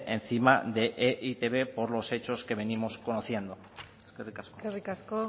encima de e i te be por los hechos que venimos conociendo eskerrik asko eskerrik asko